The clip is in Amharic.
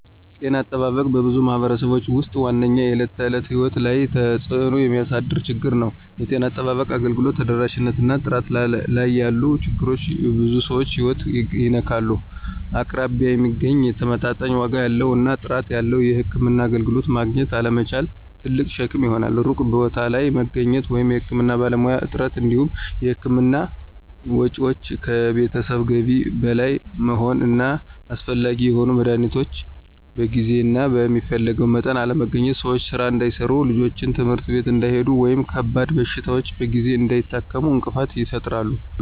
ጤና አጠባበቅ በብዙ ማኅበረሰቦች ውስጥ ዋነኛው የዕለት ተዕለት ሕይወት ላይ ተጽእኖ የሚያሳድር ችግር ነው። የጤና አጠባበቅ አገልግሎት ተደራሽነት እና ጥራት ላይ ያሉ ችግሮች የብዙ ሰዎችን ሕይወት ይነካሉ። አቅራቢያ የሚገኝ፣ ተመጣጣኝ ዋጋ ያለው እና ጥራት ያለው የሕክምና አገልግሎት ማግኘት አለመቻል ትልቅ ሸክም ይሆናል። ሩቅ ቦታ ላይ መገኘት ወይም የሕክምና ባለሙያዎች እጥረት እንዲሁም የሕክምና ወጪዎች ከቤተሰብ ገቢ በላይ መሆን እና አስፈላጊ የሆኑ መድኃኒቶች በጊዜ እና በሚፈለገው መጠን አለመገኘት ሰዎች ሥራ እንዳይሠሩ፣ ልጆች ትምህርት ቤት እንዳይሄዱ ወይም ከባድ በሽታዎችን በጊዜ እንዳይታከሙ እንቅፋት ይፈጥራሉ።